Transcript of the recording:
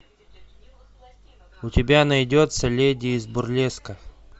у тебя найдется леди из бурлеска